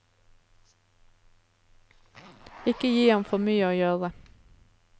Ikke gi ham for mye å gjøre.